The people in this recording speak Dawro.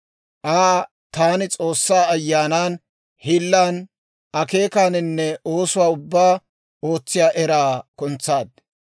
Aa taani S'oossaa Ayyaanan, hiillan, akeekaaninne oosuwaa ubbaa ootsiyaa eraan kuntsaad;